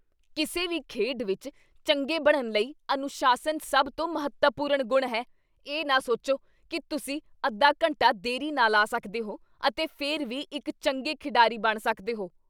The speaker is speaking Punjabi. ਕਿਸੇ ਵੀ ਖੇਡ ਵਿੱਚ ਚੰਗੇ ਬਣਨ ਲਈ ਅਨੁਸ਼ਾਸਨ ਸਭ ਤੋਂ ਮਹੱਤਵਪੂਰਨ ਗੁਣ ਹੈ। ਇਹ ਨਾ ਸੋਚੋ ਕੀ ਤੁਸੀਂ ਅੱਧਾ ਘੰਟਾ ਦੇਰੀ ਨਾਲ ਆ ਸਕਦੇ ਹੋ ਅਤੇ ਫਿਰ ਵੀ ਇੱਕ ਚੰਗੇ ਖਿਡਾਰੀ ਬਣ ਸਕਦੇ ਹੋ।